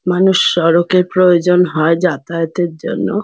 মানুষ সড়কের প্রয়োজন হয় যাতায়াতের জন্য।